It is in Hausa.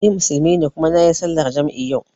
Ni Musulmi ne kuma nayi sallar jam'i yau